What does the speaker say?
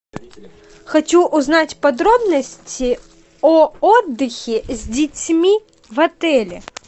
хочу узнать подробности о отдыхе с детьми в отеле